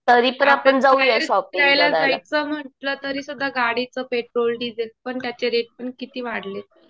आपण फिरायला जायचं नुसतं म्हणलं सुद्धा तरी गाडीचं पेट्रोल, डिझेल पण त्याचे रेट पण किती वाढलेत.